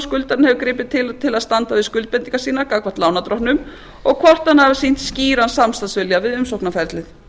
skuldarinn hefur gripið til til að standa við skuldbindingar sínar gagnvart lánardrottnum og hvort hann hafi sýnt skýran samstarfsvilja við umsóknarferlið